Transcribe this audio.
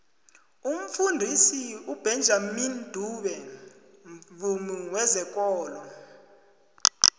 umfundisi ubenjamini dube mvumi wezekolo